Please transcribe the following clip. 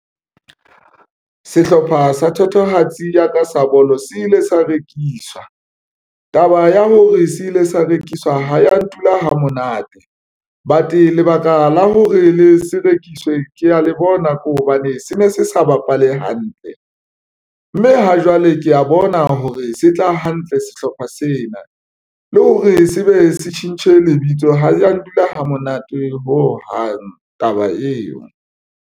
Sehlopha sa thatohatsi ya ka sa bolo se ile sa rekiswa taba ya hore se ile sa rekiswa ha ya ntula ha monate but lebaka la hore le se rekiswe. Ke ya le bona ko hobane se ne se sa bapale hantle mme ha jwale ke ya bona hore se tla hantle sehlopha sena le hore se be se tjhentjhe lebitso ha ya ndula ha monate ho hang taba eo.